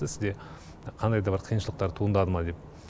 сізде қандай да бір қиыншылықтар туындады ма деп